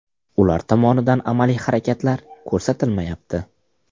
Ular tomonidan amaliy harakatlar ko‘rsatilmayapti.